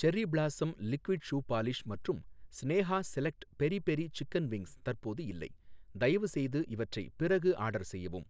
cherry blossom liquid shoe polish மற்றும் Sneha select peri peri chicken wings தற்போது இல்லை, தயவுசெய்து இவற்றை பிறகு ஆர்டர் செய்யவும்